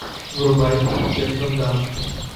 врубай кирстен данст